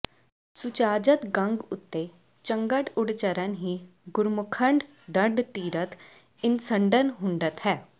ਸੁਚਾਜਡ ਗ਼ੰਗ ੳਤੇ ਚੰਗਡ ੳਡਚਰਣ ਹੀ ਗੁਰਮੁਖਡਂ ਦਡ ਤੀਰਥ ਇਸਨਡਨ ਹੁੰਦਡ ਹੈ